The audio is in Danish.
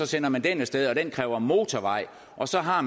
sender den af sted og det kræver en motorvej og så har